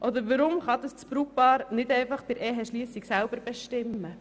Oder weshalb kann das Brautpaar diese nicht einfach bei der Eheschliessung selber bestimmen?